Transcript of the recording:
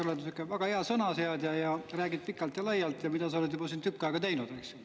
Ma tean, et sa oled väga hea sõnaseadja ning räägid pikalt ja laialt, mida sa oled siin juba tükk aega ka teinud, eks.